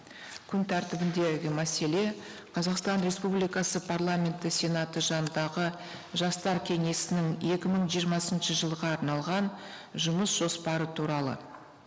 күн тәртібіндегі мәселе қазақстан республикасы парламенті сенаты жанындағы жастар кеңесінің екі мың жиырмасыншы жылға арналған жұмыс жоспары туралы